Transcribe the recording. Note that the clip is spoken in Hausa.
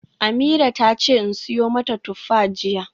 Ameerah tace in siyo mata tuffa jiya.